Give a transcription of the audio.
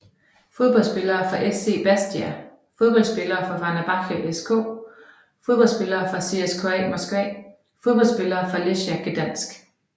Fodboldspillere fra SC Bastia Fodboldspillere fra Fenerbahçe SK Fodboldspillere fra CSKA Moskva Fodboldspillere fra Lechia Gdańsk